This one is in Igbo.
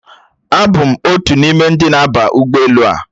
Abụ m otu n'ime ndị na-aba ụgbọelu a